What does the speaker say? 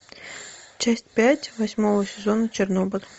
часть пять восьмого сезона чернобыль